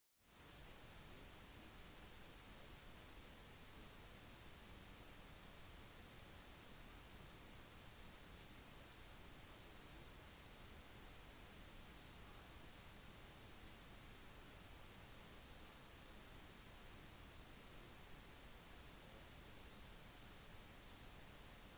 de fant ut at solen fungerte på de samme grunnprinsippene som andre stjerner aktiviteten til alle stjerner i systemet viste seg å kun være drevet av sin lysstyrke og rotasjon